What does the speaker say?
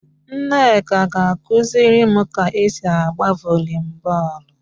Nneka ga-akuzirim ka esi agba volleyball